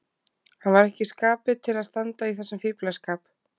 Hann var ekki í skapi til að standa í þessum fíflaskap.